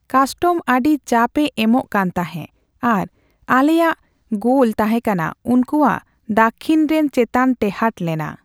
Custom ᱟᱹᱰᱤ ᱪᱟᱯ ᱮ ᱮᱢᱚᱜ ᱠᱟᱱᱛᱟᱦᱮ ᱟᱨ ᱟᱞᱮᱭᱟᱜ ᱜᱳᱞ ᱛᱟᱦᱮ ᱠᱟᱱᱟ ᱩᱱᱠᱩᱣᱟᱜ ᱫᱟᱠᱽᱠᱷᱤᱱ ᱨᱮᱱ ᱪᱮᱛᱟᱱ ᱴᱮᱦᱟᱰ ᱞᱮᱱᱟ ᱾